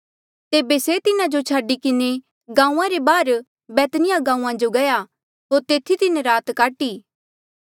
तेबे से तिन्हा जो छाडी किन्हें गांऊँआं रे बाहर बैतनिय्याह गांऊँआं जो गया होर तेथी तिन्हें रात काटी